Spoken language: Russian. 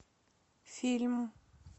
фильм